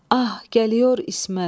Ah, gəliyordur İsmət.